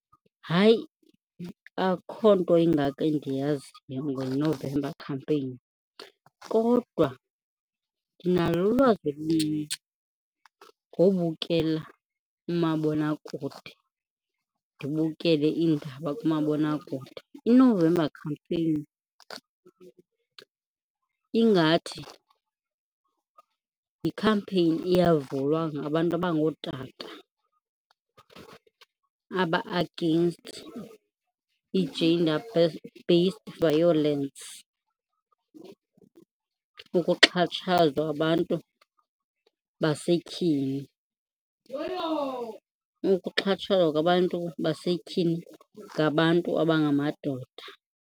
Hayi, akho nto ingako endiyaziyo ngeNovember Campaign kodwa ndinalo ulwazi oluncinci ngobukela umabonakude, ndibukele kumabonakude. INovember Campaign ingathi yikhampeyini eyavulwa ngabantu abangootata aba-against i-gender based violence, ukuxhatshazwa abantu basetyhini, ukuxhatshazwa kwabantu basetyhini ngabantu abangamadoda.